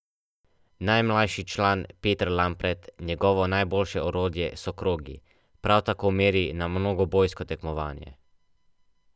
Najmlajši član Peter Lampret, njegovo najboljše orodje so krogi, prav tako meri na mnogobojsko tekmovanje.